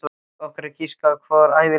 Okkar að giska, okkar ævinlega að giska.